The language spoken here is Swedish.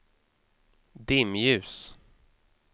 dimljus